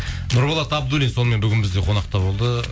нұрболат абдуллин сонымен бүгін бізде қонақта болды